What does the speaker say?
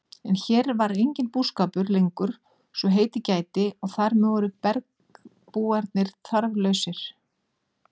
En hér var enginn búskapur lengur svo heitið gæti og þar með voru bergbúarnir þarflausir.